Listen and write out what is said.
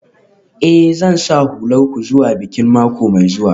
Eh, Zan sa hular ku zuwa bikin mako mai zuwa.